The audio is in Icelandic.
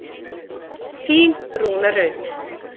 Þín Rúna Rut.